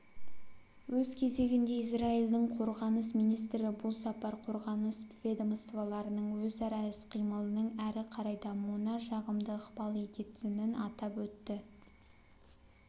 өз кезегінде израильдің қорғаныс министрі бұл сапар қорғаныс ведомстволарының өзара іс-қимылының әрі қарай дамуына жағымды ықпал ететінін атап өтті